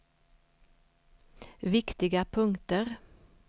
viktiga punkter